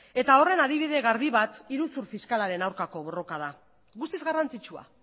horren adibide garbi bat iruzur fiskalaren aurkako borroka da guztiz garrantzitsua